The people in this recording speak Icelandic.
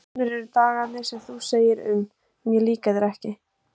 Komnir eru dagarnir sem þú segir um: mér líka þeir ekki.